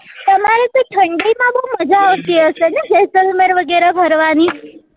ખુબ મજા આવતી હશે ને જૈસલમેર વગેરા ફરવા ની